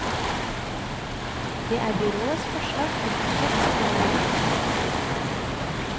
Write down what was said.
Det er byrådets forslag til budsjett som nå ligger på bordet.